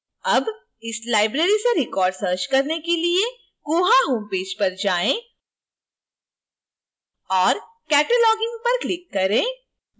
अब इस library से records search करने के लिए koha homepage पर जाएँ